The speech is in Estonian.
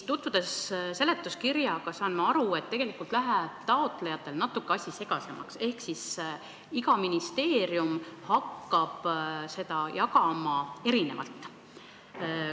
Tutvunud seletuskirjaga, saan ma aru, et tegelikult läheb taotlejate jaoks natuke asi segasemaks – iga ministeerium hakkab raha jagama omamoodi.